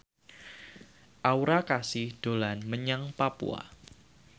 Aura Kasih dolan menyang Papua